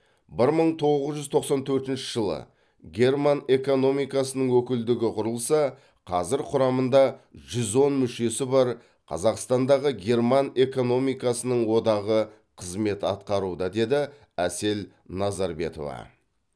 бір мың тоғыз жүз тоқсан төртінші жылы герман экономикасының өкілдігі құрылса қазір құрамында жүз он мүшесі бар қазақтандағы герман экономикасының одағы қызмет атқаруда деді әсел назарбетова